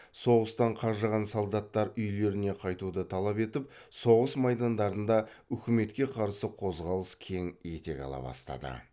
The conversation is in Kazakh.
соғыстан қажыған солдаттар үйлеріне қайтуды талап етіп соғыс майдандарында үкіметке қарсы қозғалыс кең етек ала бастады